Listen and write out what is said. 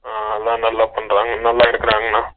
அஹ நல்லா பண்றாங்க நல்லா இருக்குராங்கன்னா